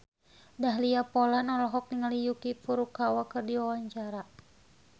Dahlia Poland olohok ningali Yuki Furukawa keur diwawancara